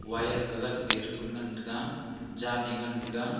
wire ke gat le pun ngan tega jan e ngan tega.